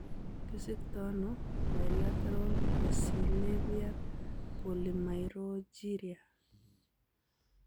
Kisiktoono biletaral perisylvanian polymirogyria